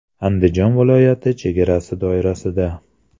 Andijon viloyati chegarasi doirasida.